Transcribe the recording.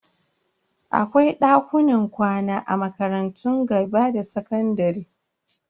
Akwai dakunan kwana a makarantun gaba da sakandare.